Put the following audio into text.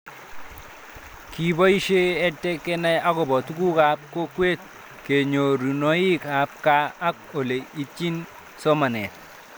Kipoishe EdTech kenai akopo tuguk ab kokwet , kanyorunoik ab kaa ak ole itchini somanet